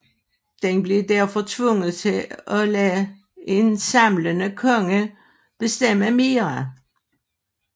Den blev derfor tvunget til at lade en samlende konge bestemme mere